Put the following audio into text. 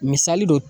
Misali don